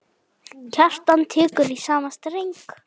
Kjartan tekur í sama streng.